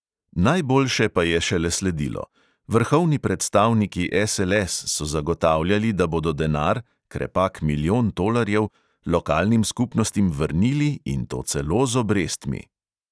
Najboljše pa je šele sledilo: vrhovni predstavniki SLS so zagotavljali, da bodo denar (krepak milijon tolarjev) lokalnim skupnostim vrnili, in to celo z obrestmi.